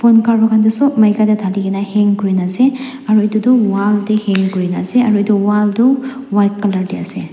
phone cover khan tu sop maikae tae thalikae na hang kurina ase aro edu tu wall tae hang kurina ase aro edu wall toh white colour tae ase.